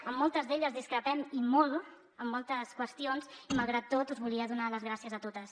amb moltes d’elles discrepem i molt en moltes qüestions i malgrat tot us volia donar les gràcies a totes